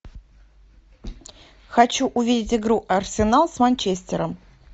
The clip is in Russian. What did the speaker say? хочу увидеть игру арсенал с манчестером